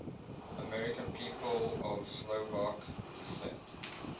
american people of slovak descent